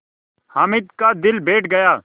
हामिद का दिल बैठ गया